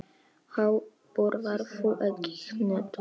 Ha, borðar þú ekki hnetur?